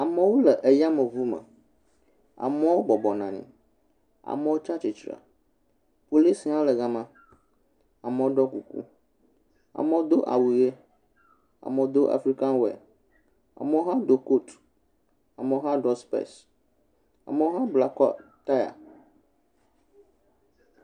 Amewo le ya me yame ŋu me, ame bɔbɔ ne anyi amewo tsia tsi tre. Police hã le gama, amewo ɖɔ kuku, amewo do awu ʋi, amewo do African wear, amewo hã do coat, amewo hã ɖɔ specs. Amewo hã bla taya